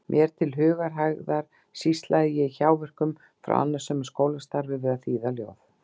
Mér til hugarhægðar sýslaði ég í hjáverkum frá annasömu skólastarfi við að þýða ljóð.